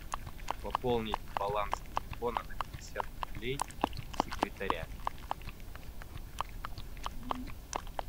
пополнить баланс телефона на пятьдесят рублей секретаря